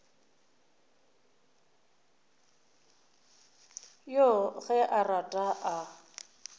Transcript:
yoo ge a rata a